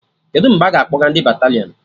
Kedụ mgbe a ga-akpọga ndị batalịọn?